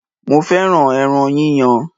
Mo fẹ́ràn ẹran yíyan.